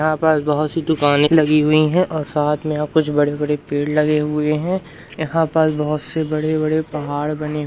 यहां पास बहुत सी दुकाने लगी हुई है और साथ में यहां कुछ बड़े-बड़े पेड़ लगे हुए हैं यहां पास बहुत से बड़े-बड़े पहाड़ बने --